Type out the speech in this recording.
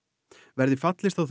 verði fallist á